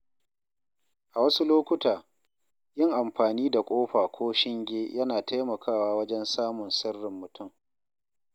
A wasu lokuta, yin amfani da ƙofa ko shinge yana taimakawa wajen samun sirrin mutum.